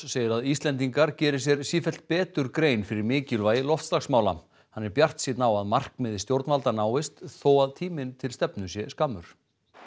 segir að Íslendingar geri sér sífellt betur grein fyrir mikilvægi loftslagsmála hann er bjartsýnn á að markmið stjórnvalda náist þó að tíminn til stefnu sé skammur